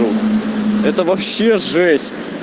ну это вообще жесть